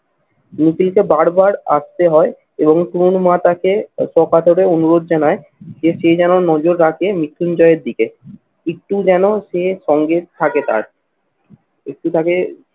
নিপীড়িত বারবার আসতে হয় এবং কোন মাতাকে অকাতরে অনুরোধ জানায় যে সে যেন নজর রাখে মৃত্যুঞ্জয় এর দিকে। একটু যেন সে সঙ্গে থাকে তার একটু তাকে